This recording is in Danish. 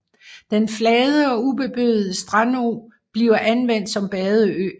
Den flade og ubeboede strandø bliver anvendt som badeø